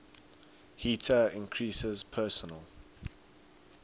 heater increases personal